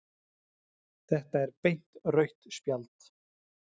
Þetta er beint rautt spjald